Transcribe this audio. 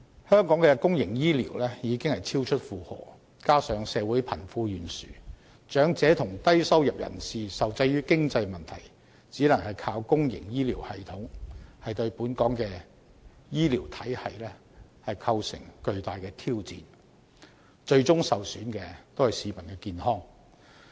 香港的公營醫療已超出負荷，加上社會貧富懸殊，長者及低收入人士受制於經濟問題，只能依靠公營醫療系統，對本港的醫療體系構成巨大挑戰，最終受損的是市民的健康。